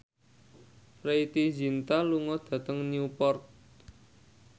Preity Zinta lunga dhateng Newport